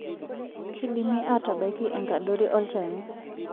Keidimi atabaiki enkadori olchani.